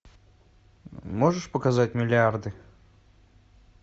можешь показать миллиарды